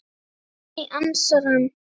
Nei, ansar hann.